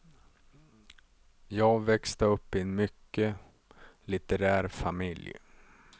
Jag växte upp i en mycket litterär familj.